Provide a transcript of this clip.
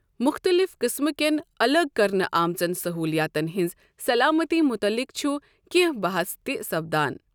مختلف قٕسمٕکیٚن اَلگ کرنہٕ آمژن سٔہولیاتن ہِنٛز سلامتی مُتعلق چُھ کینٛہہ بَحس تہِ سپدان ۔